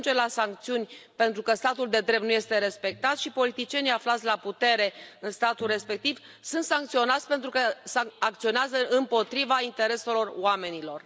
Se ajunge la sancțiuni, pentru că statul de drept nu este respectat și politicienii aflați la putere în statul respectiv sunt sancționați, pentru că acționează împotriva intereselor oamenilor.